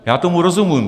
Já tomu rozumím.